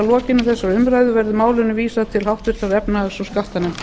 lokinni þessari umræðu verði málinu vísað til efnahags og skattanefndar